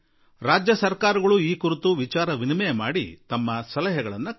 ರಾಜ್ಯ ಸರ್ಕಾರಗಳು ಚರ್ಚಿಸಿ ತಮ್ಮ ಸಲಹೆಗಳನ್ನು ಕಳುಹಿಸಲಿ